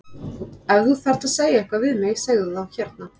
Ef þú þarft að segja eitthvað við mig segðu það þá hérna!